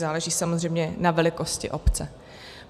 Záleží samozřejmě na velikosti obce.